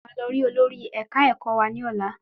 Mo máa lọ rí olórí ẹ̀ka ẹ̀kọ́ wa ní ọlá.